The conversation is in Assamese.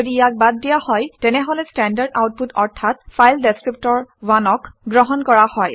যদি ইয়াক বাদ দিয়া হয় তেনেহলে ষ্টেণ্ডাৰ্ড আউটপুট অৰ্থাৎ ফাইল ডেচক্ৰিপ্টৰ 1 অক গ্ৰহণ কৰা হয়